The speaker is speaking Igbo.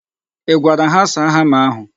I gwara ha saa hama ahụ?